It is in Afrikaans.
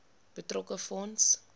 betrokke fonds